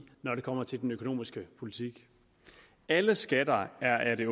når det kommer til den økonomiske politik alle skatter er af det